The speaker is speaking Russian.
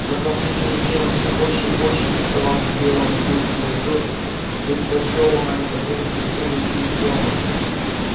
за последние дни он всё больше и больше приставал к белому клыку и тот предпочёл на это время совсем уйти из дома